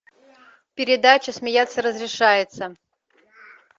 передача смеяться разрешается